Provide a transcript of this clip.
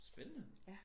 Spændende